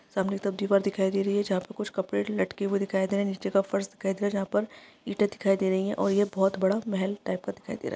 सामने तक दीवार दिखाई दे रही है जहा पे कुछ कपड़े लटके हुए दिखाई दे रहे है नीचे का फर्श कैद है जहा पर ईटें दिखाई दे रही है और ये बोहोत बड़ा मेहल टाइप का दिखाई दे रहा है।